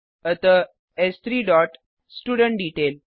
अतः एस3 dot student detail